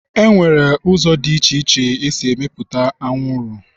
Enwere ụzọ dị iche iche esi emepụta anwụrụ.